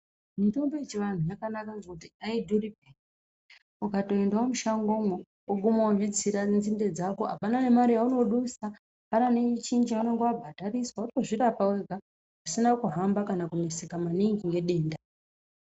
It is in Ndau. Mitombo yechivantu yakanaka ngekuti aidhuripeya ukatoendawo mushangomwo woguma wozvitsira nzinde dzako apana nemare yaunodusa apana neechinyi chaunenge wabhadhariswa wotozvirapa wega zvisina kuhamba kana kuneseka maningi ngedenda.